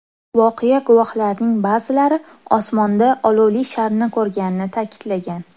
Voqea guvohlarining ba’zilari osmonda olovli sharni ko‘rganini ta’kidlagan.